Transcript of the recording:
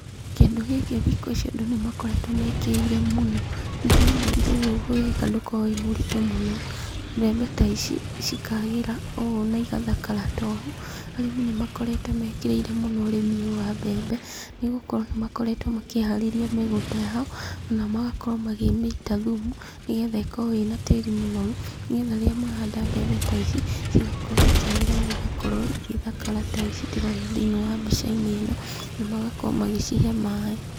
Kĩndũ gĩkĩ thikũ ici andũ nĩmakoretwo mekĩrĩire mũno, nĩ tondũ ũndũ ũyũ ũgĩka ndũkoragwo wĩ mũritũ mũno. Mbembe ta ici cikaagĩra na igathakara ta ũũ. Arĩmi nĩmakoretwo mekĩrĩire mũno ũrĩmi ũyũ wa mbembe, nĩgũkorwo nĩ akoretwo makĩharĩria mĩgũnda yao, na magakorwo makĩmĩita thumu nĩgetha ĩkorwo ĩna tĩri mũnoru, nĩgetha rĩrĩa mahanda mbembe ta ici cigakorwo ikĩagĩra na igakorwo cigĩthakara ta ici ndĩrona thĩinĩ wa mbica-inĩ ĩno, na magakorwo magĩcihe maaĩ.